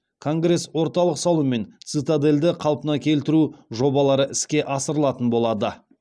конгресс орталық салу мен цитадельді қалпына келтіру жобалары іске асырылатын болады